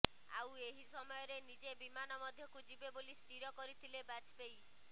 ଆଉ ଏହି ସମୟରେ ନିଜେ ବିମାନ ମଧ୍ୟକୁ ଯିବେ ବୋଲି ସ୍ଥିର କରିଥିଲେ ବାଜପେୟୀ